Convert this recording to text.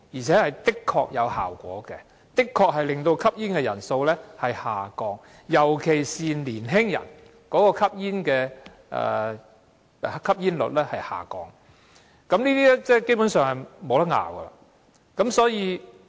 這做法的確有果效，可令吸煙人數下降，尤其是降低年青人的吸煙率，這點基本上無容爭拗。